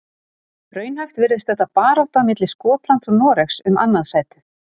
Raunhæft virðist þetta barátta milli Skotlands og Noregs um annað sætið.